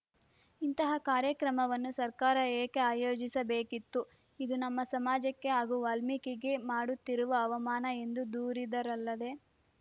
ಇಂತಹ ಕಾರ್ಯಕ್ರಮವನ್ನು ಸರ್ಕಾರ ಏಕೆ ಆಯೋಜಿಸಬೇಕಿತ್ತು ಇದು ನಮ್ಮ ಸಮಾಜಕ್ಕೆ ಹಾಗೂ ವಾಲ್ಮೀಕಿಗೆ ಮಾಡುತ್ತಿರುವ ಅವಮಾನ ಎಂದು ದೂರಿದರಲ್ಲದೆ